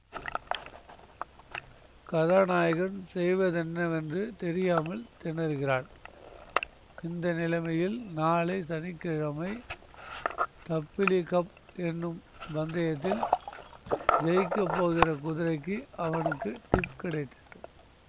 கதாநாயகன் செய்வதென்னவென்று தெரியாமல் திணறுகிறான் இந்த நிலைமையில் நாளை சனி கிழமை தப்பிலி கப் என்னும் பந்தயத்தில் ஜயிக்கப் போகிற குதிரைக்கு அவனுக்கு டிப் கிடைத்தது